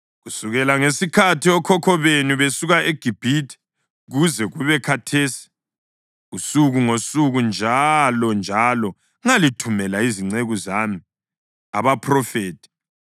Kusukela ngesikhathi okhokho benu besuka eGibhithe kuze kube khathesi, usuku ngosuku, njalonjalo ngalithumela izinceku zami abaphrofethi.